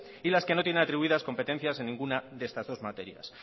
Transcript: y las que no tienen atribuidas competencias en ninguna de estas dos materias